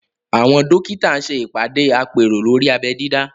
Àwọn dókítà ṣe ìpàdé àpérò lórí abẹ́ dídá